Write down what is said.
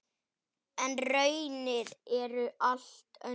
En raunin er allt önnur.